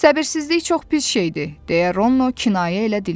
Səbirsizlik çox pis şeydir, deyə Rono kinayə ilə dilləndi.